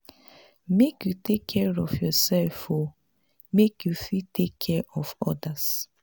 make you take care of yoursef o make you fit take care of odas.